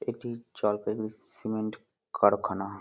এটি জলপাইগুড়ি সিমেন্ট কারখানা ।